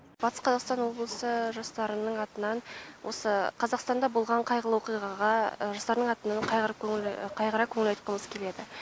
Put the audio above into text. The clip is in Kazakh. батыс қазақстан облысы жастарының атынан осы қазақстанда болған қайғылы оқиғаға жастардың атынан қайғырып көңіл қайғыра көңіл айтқымыз келеді